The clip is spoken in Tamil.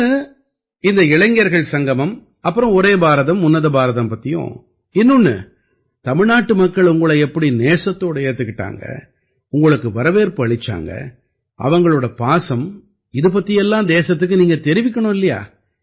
ஒண்ணு இந்த இளைஞர்கள் சங்கமம் அப்புறம் ஒரே பாரதம் உன்னத பாரதம் பத்தியும் இன்னொண்ணு தமிழ்நாட்டு மக்கள் உங்களை எப்படி நேசத்தோட ஏத்துக்கிட்டாங்க உங்களுக்கு வரவேற்பு அளிச்சாங்க அவங்களோட பாசம் இது பத்தி எல்லாம் தேசத்துக்கு நீங்க தெரிவிக்கணும் இல்லையா